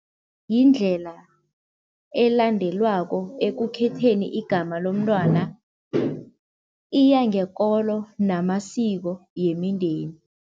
Yindlela elandelwako ekukhetheni igama lomntwana, iya ngekolo namasiko yemindeni.